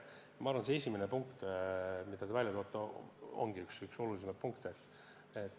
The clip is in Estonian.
Ma arvan, et esimene punkt, mida te märkisite, ongi üks kõige olulisemaid.